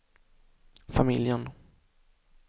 familjen